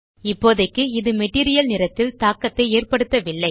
இப்போதைக்கு இது மெட்டீரியல் நிறத்தில் தாக்கத்தை ஏற்படுத்தவில்லை